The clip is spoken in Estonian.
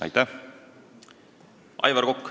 Aivar Kokk, palun!